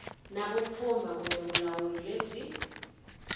na vupfhumba kumbe vulawuri lebyi